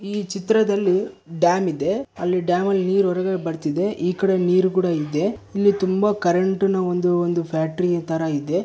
ಈ ಚಿತ್ರದಲ್ಲಿ ಡ್ಯಾಮ್ ಇದೆ ಅಲ್ ಡ್ಯಾಮ್ ಅಲ್ ನೀರ್ ಹೊರಗೆ ಬರ್ತಿದೆ ಈಕಡೆ ನೀರು ಕೂಡ ಇದೆ ಇಲ್ಲಿ ತುಂಬಾ ಕರೆಂಟಿನ ಒಂದು-ಒಂದು ಫ್ಯಾಕ್ಟ್ರಿ ಥರ ಇದೆ.